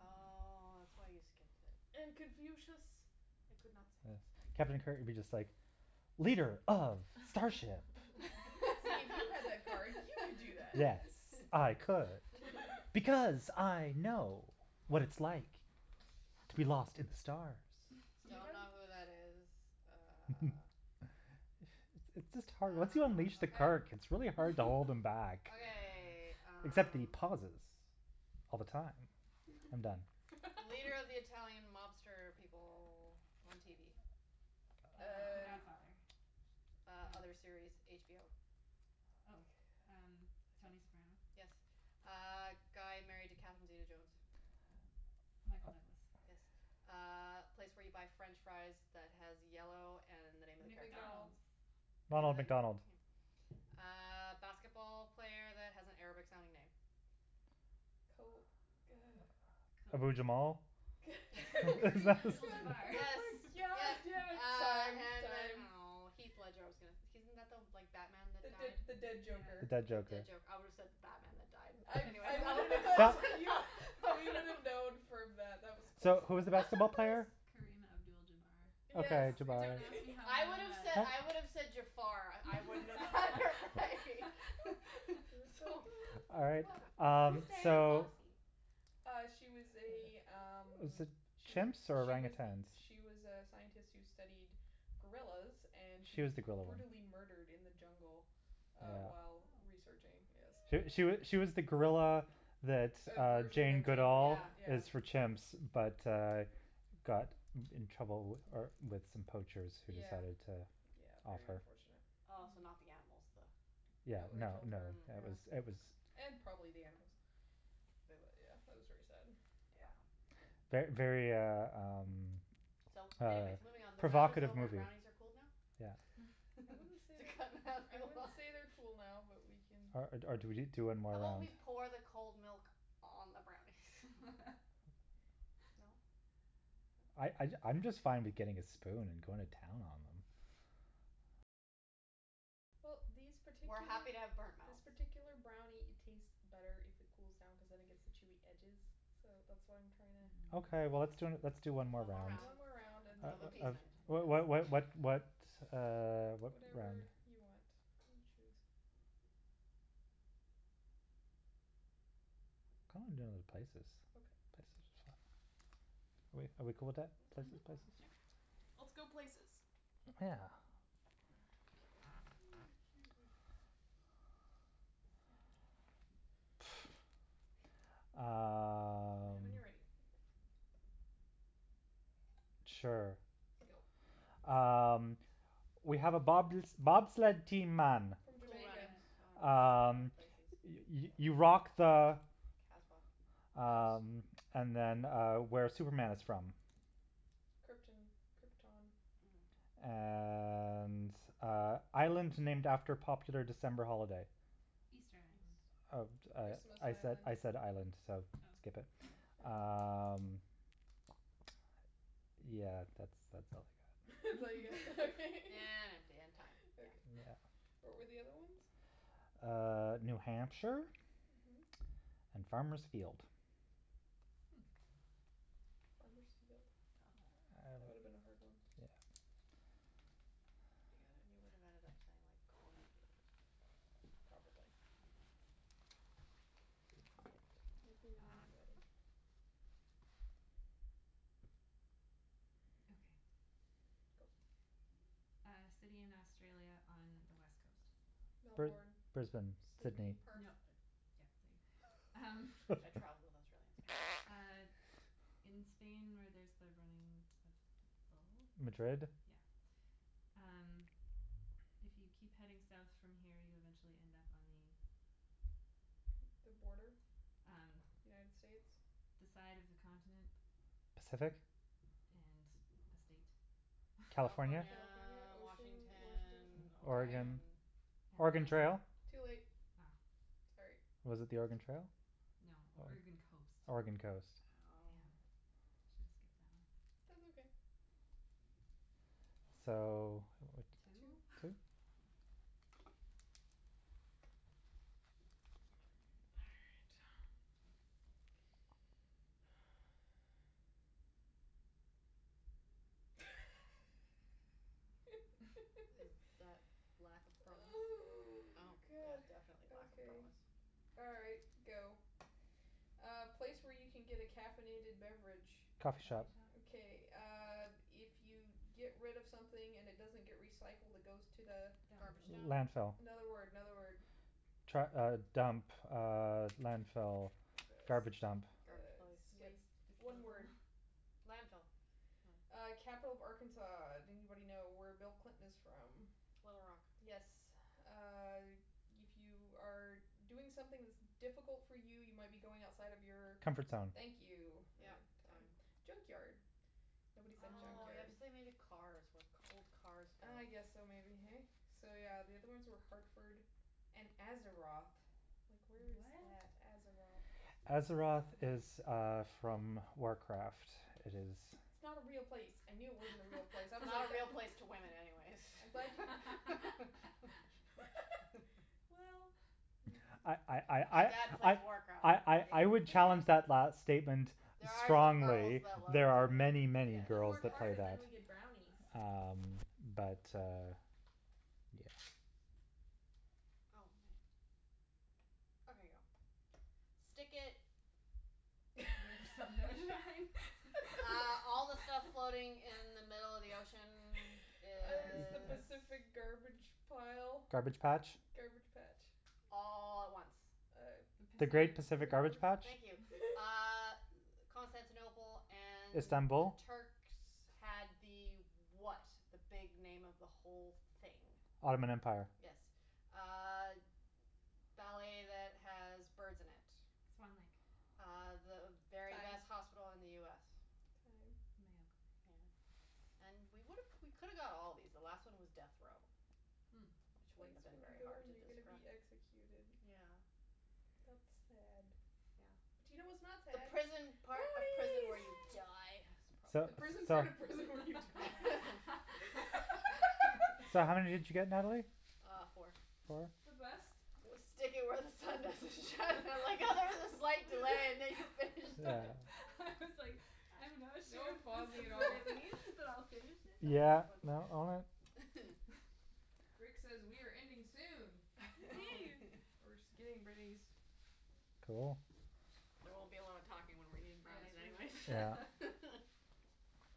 Oh, that's why you skipped it. And Confucius I could not Yes, say. Captain Kirk would be just like leader of starship. See, if you had that card, you could do that. Yes, I could because I know what it's like to be lost in the stars. So you Don't m- know who that is. Uh. It's it's just hard Once you Ah, unleash the okay. Kirk, it's really hard to hold him back. Okay, Except the um. pauses all the time. I'm done. Leader of the Italian mobster people on TV. Uh, the Uh. Godfather. Uh, Oh. other series, HBO. God. Oh, um, I don't Tony Soprano. Yes. Uh, guy married to Catherine zeta-jones. Michael Douglas. Yes. Uh, place where you buy French fries that has yellow and the name of the character. McDonald's. McDonald's. Name of Ronald the McDonald. yeah Uh basketball player that has an Arabic sounding name. Kobe, uh Ke- Abu Jamal? K- Karim Abdul Jabbar. Yes, yes. yeah, Uh, time, and then, time. oh, Heath Ledger, I was gonna he isn't like the Batman that The the died? the dead The joker. Yeah. dead Oh, joker. dead joker. I would have said the Batman that died, but I anyways, I that would have been close enough We would have known from that. That was close So, who was enough. the I'm basketball player? surprised Kareem Abdul Jabbar. Yes Okay, Jabar. Don't ask Yeah. me how I I know would have that. said, I would have said Jafar. I wouldn't have bothered by It was so so All right, bad. um, Who's Dian so. Fossey? Uh, she was a, um, Was it she was, chimps or she was, orangutans? she was a scientist who studied gorillas and she She was was the gorilla one. brutally murdered in the jungle uh while Yeah. researching, Oh. yes. She she she was the gorilla that A uh version Jane of Jane Goodall Duvall, Yeah. yeah. is for chimps but, uh, got in trouble uh with some poachers who Yeah. decided to Yeah, off very her. unfortunate. Oh, so Mm. not the animals, the No, Yeah, they no, killed no, her, Mm, it yeah. was, it was. okay. And probably the animals. But Boo. wa- yeah, that was very sad. Not fun. Yeah. Ver- very, uh, um, So, um anyways, moving on. The round is provocative over and movie. brownies are cooled now? Yeah. I wouldn't say To they're, cut I Natalie wouldn't off say they're cool now, but we can. Or or do we do one How more about round? we pour the cold milk on the brownies? No? I No? I I'm just fine with getting a spoon and going to town on them. Well, these We're particular, happy to have burnt this mouth. particular brownie, it tastes better if it cools down cuz then it gets the chewy edges, so that's why I'm trying to. Okay, well, let's d- let's do one more One more round One round more Mm. round and then, of uh uh of appeasement. What what what yes. what what, uh, what one? Whatever you want, you choose. Kinda wanna do places. Okay. Places are fun. Are we are we cool with that, That's Mhm, places, fine, places? sure. whatever. Whatever. Let's go places. Yeah. Excuse me. Let me know Um. when you're ready. Sure. Go. Um, we have a bob- bobsled team, man. From Cool Jamaica. runnings. Jamaica. Oh, right, Um, places. you you Fail. you rock the Kasbah. House. Um, and then, uh, where Superman is from. Krypton. Krypton. Mm. And, uh, island named after popular December holiday. Easter Island. Eas- Uh, uh, Christmas I Island. said island, so skip Oh. it. Mm. Oh. Um, yeah, that's that's all I got. That's all you get. Okay. empty and time. Yeah. Okay. Yeah. What were the other ones? Uh, New Hampshire Mhm. and Farmer's Field. Hmm. Farmer's Field? Oh. That would have been a hard one. Yeah. You got it? You would have ended up saying like corn field or something. Probably. Mm. Let me know when you're ready. Okay. Go. Uh, city in Australia on the West coast. Br- Melbourne, Brisbane, Sydney. Sydney. Nope, Perth. yeah. Um, I travelled in Australia, so. uh, in Spain where there's the running of the Madrid? bulls. Yeah. Um, if you keep heading South from here, you eventually end up on the The border? Um, United States? the side of the continent. Pacific? And the state. California? California, California, ocean, Washington? Washington, Time. Oregon? Oregon. Oregon And then. Trail? Too late. Oh. Sorry. Was it the Oregon Trail? No, Oregon coast. Oregon coast. Damn, I Oh. Oh. should have skipped that one. That's okay. So, what, Two. Two? two? All right. Is that lack of promise? Oh, Oh, yeah, god. definitely lack of Okay. promise. All right, go. A place where you can get a caffeinated beverage. Coffee Coffee shop. shop. Okay, uh, if you get rid of something and it doesn't get recycled, it goes to the Dump. Garbage dump. Landfill. Another word, another word. Tru- uh, dump, uh, landfill, garbage dump. Garbage place. Skip. Waste One disposal. word. Landfill. No. Uh, capital of Arkansas. Do anybody know where Bill Clinton is from? Little Rock. Yes. Uh, if you are doing something that's difficult for you, you might be going outside of your Comfort zone. Thank you. Yep, Uh time. time. Junkyard. Nobody said Oh, you have junkyard. to say Oh. maybe cars, where old cars go. Ah, yes, so maybe, hey? So, yeah, the other ones Hmm. were Hartford and Azeroth. Like, where is What? that? Azeroth? Azeroth Mm. is, uh, from Warcraft. It is. It's not a real place. I knew it wasn't a real place. I was Not like a real place to women, anyways I'm glad Well, I I yeah. My I dad plays I I Warcraft. I I Hey, I would hey, challenge that last Nattie. statement There are some girls strongly. that love There are the many, game, many yes, One girls more that card play and then that. we yes. get brownies. Um, but, uh, yeah. Oh, ma- Okay, Okay, go. go. Stick it. Where the sun don't shine? Uh all the stuff floating in the middle of the ocean Is the is. Pacific That's. garbage pile? Garbage patch. Garbage patch? All at once. Uh. The The great Pacific. Pacific garbage patch. Thank you. Uh, Constantinople and the Istanbul? Turks had the what, the big name of the whole thing? Ottoman Empire. Yes. Uh, ballet that has birds in it. Swan Lake. Uh, the very Time. best hospital in the US. Time. Mayo Clinic. Yeah. And we would've, we could've got all of these. The last one was death row, Hmm. which The wouldn't place have been you very go hard when to you're gonna describe. be executed. Yeah. That's sad. Yeah. But you know what's not The sad? prison part of prison Brownies. where you die. Yay! So, The prison part so. of prison when you die. So how many did you get, Natalie? Uh, four. Four? The best. Was stick it where the sun doesn't shine. I like how there was a slight delay and then you finished Yeah. it. I was like, I'm not sure No if this pausing at is what all. it means, but I'll finish it. That was Yeah, funny. no, all right. Rick says we are ending soon. Well, Woohoo. we're just getting rid of these. Cool. There won't be a lot of talking when we're eating Yes, brownies, we're not anyways. Yeah.